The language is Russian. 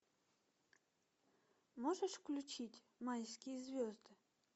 можешь включить майские звезды